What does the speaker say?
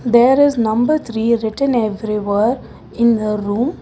There is number three written everywhere in the room.